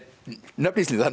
nöfn Íslendinga